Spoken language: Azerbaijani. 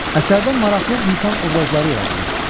Əsərdən maraqlı insan obrazları yaradılmışdı.